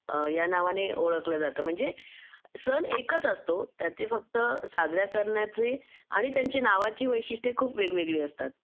या नावाने ओळखलं जातं म्हणजे सन एकच असतो त्याचे फक्त साजरा करण्याचे आणि त्यांच्या नावाची वैशिष्ट्ये खूप वेगवेगळी असतात